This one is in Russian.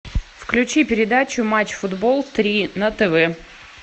включи передачу матч футбол три на тв